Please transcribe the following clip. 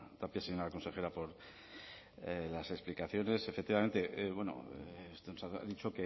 tapia señora consejera por las explicaciones efectivamente usted nos ha dicho